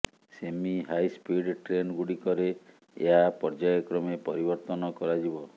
ସେମି high speed ଟ୍ରେନଗୁଡ଼ିକରେ ଏହା ପର୍ଯ୍ୟାୟ କ୍ରମେ ପରିବର୍ତ୍ତନ କରାଯିବ